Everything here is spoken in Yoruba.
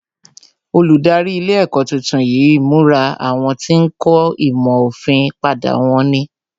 Olùdarí ilé ẹ̀kọ́ tuntun yí ìmura àwọn tí ń kọ́ ìmọ̀ òfin padà wón ní